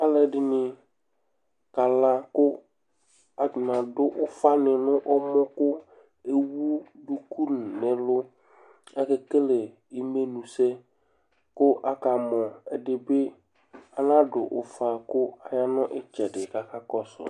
Alʋɛdìní kala kʋ aluɛɖìŋí aɖu ʋfa ni ŋu ɛmɔ kʋ ewu ɔku ŋu ɛlu Akekele imenusɛ kʋ akamɔ Ɛɖìbi anaɖu ʋfa kʋ aya ŋu itsɛɖi kʋ akakɔsu